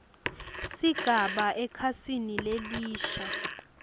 sigaba ekhasini lelisha